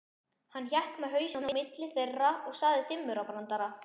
Hann hékk með hausinn á milli þeirra og sagði fimmaurabrandara.